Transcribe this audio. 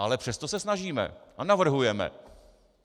Ale přesto se snažíme a navrhujeme.